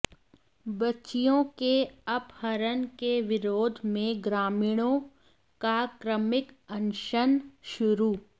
बच्चियों के अपहरण के विरोध में ग्रामीणों का क्रमिक अनशन शुरू